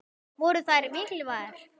Voru þær mikilvægar?